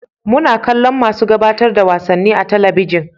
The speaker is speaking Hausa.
Muna kallon masu gabatar da wasanni a talabijin